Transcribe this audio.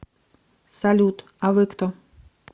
салют а вы кто